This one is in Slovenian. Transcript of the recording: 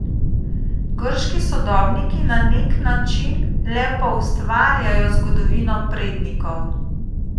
Grški sodobniki na nek način le poustvarjajo zgodovino prednikov.